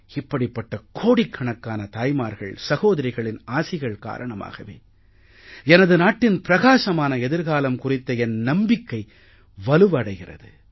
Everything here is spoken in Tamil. இப்படிப்பட்ட கோடிக்கணக்கான தாய்மார்கள் சகோதரிகளின் ஆசிகள் காரணமாகவே எனது நாட்டின் பிரகாசமான எதிர்காலம் குறித்த என் நம்பிக்கை வலுவடைகிறது